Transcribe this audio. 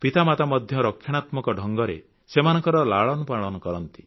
ପିତାମାତା ମଧ୍ୟ ରକ୍ଷଣାତ୍ମକ ଢଙ୍ଗରେ ସେମାନଙ୍କର ଲାଳନପାଳନ କରନ୍ତି